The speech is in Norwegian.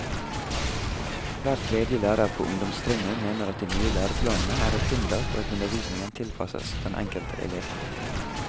Hver tredje lærer på ungdomstrinnet mener at de nye læreplanene er et hinder for at undervisningen tilpasses den enkelte elev.